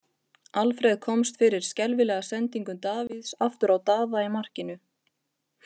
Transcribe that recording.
Alfreð komst fyrir skelfilega sendingu Davíðs aftur á Daða í markinu.